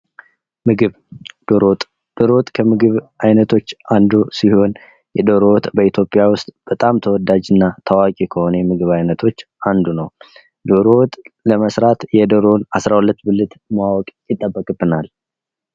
ምግብ ፤ዶሮ ወጥ፦ ዶሮ ወጥ ከምግብ አይነቶች አንዱ ሲሆን የዶሮ ወጥ በኢትዮጲያ ውስጥ በጣም ተወዳጅና ታዋቂ ከሆነ ምግብ አይነቶች አንዱ ነው። የዶሮ ወጥ ለመስራት የዶሮን 12 ብልት ማወቅ ይጠበቅብናል።